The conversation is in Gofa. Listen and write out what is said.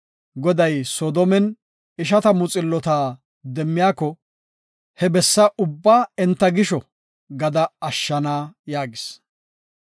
Goday, “Ta Soodomen ishatamu xillota demmiyako he bessa ubba enta gisho gada ashshana” yaagis.